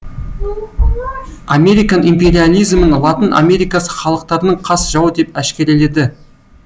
американ империализмін латын америкасы халықтарының қас жауы деп әшкереледі